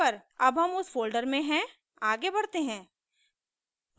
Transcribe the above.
अब हम उस फोल्डर में हैं आगे बढ़ते हैं